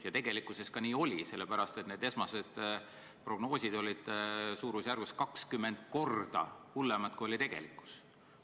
Ja tegelikult nii oligi, sellepärast et esmased prognoosid olid umbes 20 korda hullemad, kui oli tegelikkus.